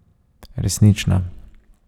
Resnična.